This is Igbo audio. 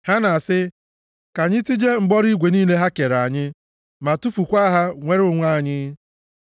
Ha na-asị, “Ka anyị tijie mkpọrọ igwe niile ha kere anyị ma tufukwaa ha, nwere onwe anyị.”